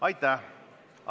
Aitäh!